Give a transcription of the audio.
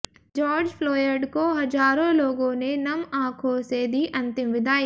George Floyd को हज़ारों लोगों ने नम आंखों से दी अंतिम विदाई